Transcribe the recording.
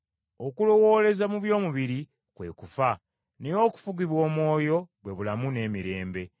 Okulowooleza mu by’omubiri kwe kufa, naye okufugibwa Omwoyo bwe bulamu n’emirembe.